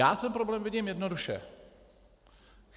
Já ten problém vidím jednoduše.